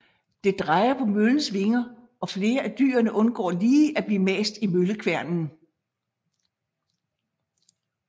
Det drejer på møllens vinger og flere af dyrene undgår lige at blive mast i møllekværnen